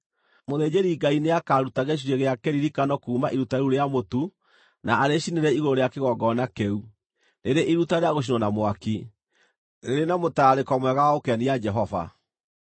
Mũthĩnjĩri-Ngai nĩakaruta gĩcunjĩ gĩa kĩririkano kuuma iruta rĩu rĩa mũtu na arĩcinĩre igũrũ rĩa kĩgongona kĩu, rĩrĩ iruta rĩa gũcinwo na mwaki, rĩrĩ na mũtararĩko mwega wa gũkenia Jehova.